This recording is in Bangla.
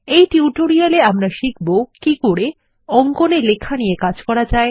এই টিউটোরিয়ালটিতে আমরা শিখব কি করে অঙ্কন এ লেখা নিয়ে কাজ করা যায়